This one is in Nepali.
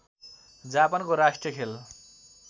जापानको राष्ट्रिय खेल